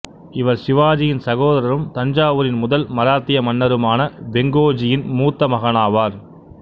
இவர் சிவாஜியின் சகோதரரும் தஞ்சாவூரின் முதல் மராத்திய மன்னருமான வெங்கோஜியின் மூத்த மகனாவார்